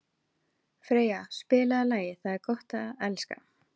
Freyja, spilaðu lagið „Það er gott að elska“.